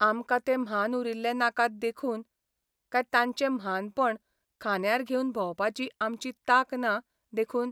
आमकां ते म्हान उरिल्ले नाकात देखून, काय तांचें म्हानपण खांद्यार घेवन भोंवपाची आमची तांक ना देखून?